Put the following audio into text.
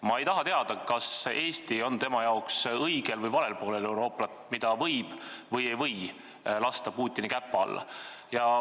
Ma ei taha teada, kas Eesti on tema arvates Euroopas õigel või valel poolel, kas Eestit võib või ei või lasta Putini käpa alla.